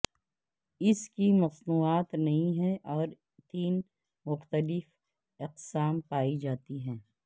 اس کی مصنوعات نئی ہے اور تین مختلف اقسام پائی جاتی ہے